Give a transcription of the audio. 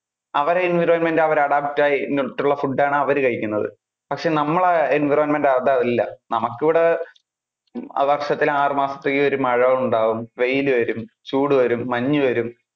അവരുടെ environment അവര് adapt ആയി അങ്ങനെ ഉള്ള food ആണ് അവര് കഴിക്കുന്നത്. പക്ഷെ നമ്മളുടെ environment അത് അല്ല. നമുക്ക് ഇവിടെ ആഹ് വർഷത്തിൽ ആറു മാസത്തേക്ക് മഴ ഉണ്ടാകും, വെയിൽ വരും, ചൂട് വരും, മഞ്ഞു വരും.